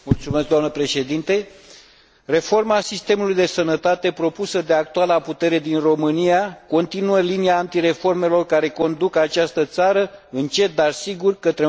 Reforma sistemului de sănătate propusă de actuala putere din România continuă linia antireformelor care conduc această țară, încet, dar sigur, către un adevărat dezastru social.